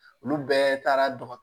Olu bɛɛ taara